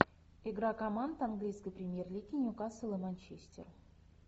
игра команд английской премьер лиги ньюкасл и манчестер